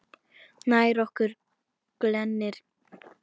Nær okkur glennir Reykja